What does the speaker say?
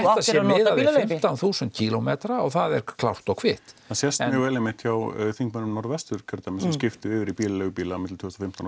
sé miðað við fimmtán þúsund kílómetra og það er klárt og kvitt það sést mjög vel einmitt hjá þingmönnum Norðvesturkjördæmis sem skiptu yfir í bílaleigubíla á milli tvö þúsund og